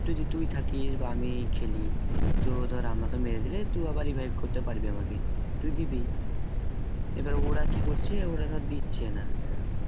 যদি তুই থাকিস বা আমি খেলি তো ধর আমাকে মেরে দিলে তুই আবার revive করতে পারবি আমাকে তুই দিবি এবার ওরা ধরে কি করছে ওরা দিচ্ছে না